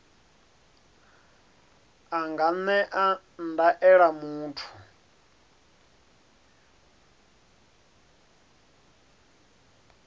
a nga ṅea ndaela muthu